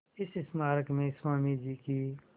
इस स्मारक में स्वामी जी की